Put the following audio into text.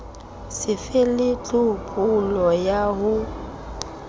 so fele tlhophollo ya ho